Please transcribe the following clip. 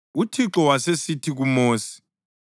UThixo wasesithi kuMosi,